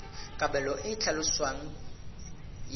kabelo e e tlhaloswang ya